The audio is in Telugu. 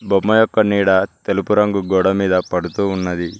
బొమ్మ యొక్క నీడా తెలుపు రంగు గోడ మీద పడుతూ ఉన్నది.